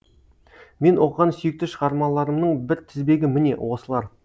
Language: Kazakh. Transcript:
мен оқыған сүйікті шығармаларымның бір тізбегі міне осылар